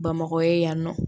Bamakɔ ye yan nɔ